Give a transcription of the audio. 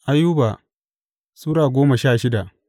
Ayuba Sura goma sha shida